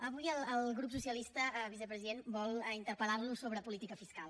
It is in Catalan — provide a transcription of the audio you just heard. avui el grup socialista vicepresident vol interpel·lar lo sobre política fiscal